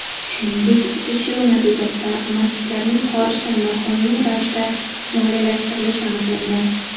Shuningdek, tekshiruv natijasida masjidlarning xorijdan noqonuniy ravishda moliyalashtirilishi aniqlangan.